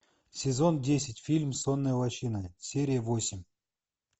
сезон десять фильм сонная лощина серия восемь